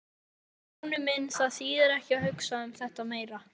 Stjáni minn, það þýðir ekki að hugsa um þetta meira.